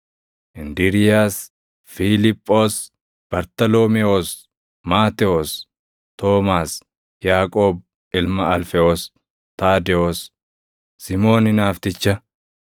Indiriiyaas, Fiiliphoos, Bartaloomewoos, Maatewos, Toomaas, Yaaqoob ilma Alfewoos, Taadewoos, Simoon Hinaafticha,